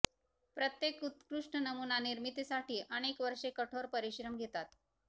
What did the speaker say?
प्रत्येक उत्कृष्ट नमुना निर्मितीसाठी अनेक वर्षे कठोर परिश्रम घेतात